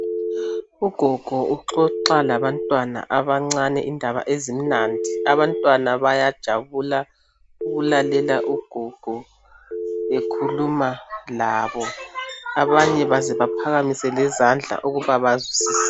Ugogo uxoxa labantwana abancane indaba ezimnandi. Abantwana bayajabula ukulalela ugogo bekhuluma labo abanye baze bephakamise lezandla ukuba bayazwisisa.